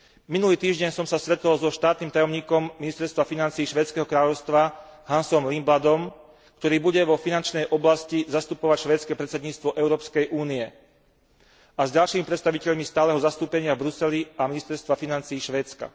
Minulý týždeň som sa stretol so štátnym tajomníkom Ministerstva financií švédskeho kráľovstva Hansom Lindbladom, ktorý bude vo finančnej oblasti zastupovať švédske predsedníctvo Európskej únie, a s ďalšími predstaviteľmi stáleho zastúpenia v Bruseli a ministerstva financií Švédska.